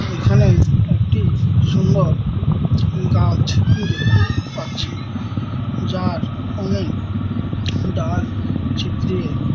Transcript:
এখানে একটি সুন্দর গাছ দেখতে পাচ্ছি যার অনেক ডাল ছিত্রিয়ে--